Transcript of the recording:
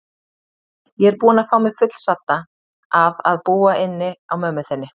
Ég er búin að fá mig fullsadda af að búa inni á mömmu þinni.